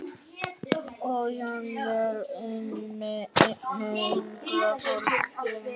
Og jafnvel einnig yngra fólki.